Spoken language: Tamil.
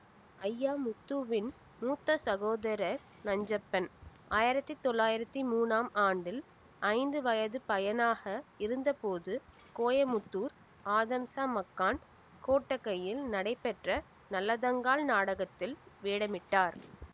அய்யாமுத்துவின் மூத்த சகோதரர் நஞ்சப்பன் ஆயிரத்தி தொள்ளாயிரத்தி மூனாம் ஆண்டில் ஐந்து வயதுப்பையனாக இருந்தபோது கோயமுத்தூர் ஆதம்சா மக்கான் கொட்டகையில் நடைபெற்ற நல்லதங்காள் நாடகத்தில் வேடமிட்டார்